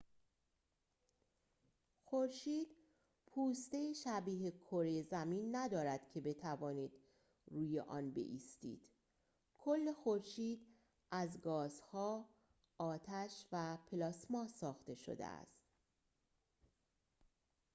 خورشید پوسته‌ای شبیه کره زمین ندارد که بتوانید روی آن بایستید کل خورشید از گازها آتش و پلاسما ساخته شده است